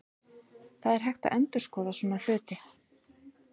Það er hægt að endurskoða svona hluti.